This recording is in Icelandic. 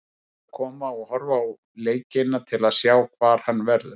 Menn verða að koma og horfa á leikina til að sjá hvar hann verður.